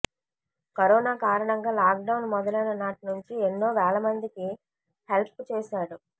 corona కారణంగా lockdown మొదలైన నాటి నుంచి ఎన్నో వేలమందికి హెల్ప్ చేశాడు